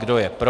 Kdo je pro?